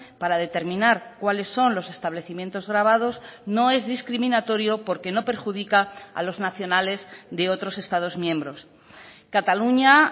para determinar cuáles son los establecimientos gravados no es discriminatorio porque no perjudica a los nacionales de otros estados miembros cataluña